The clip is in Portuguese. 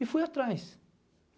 E fui atrás.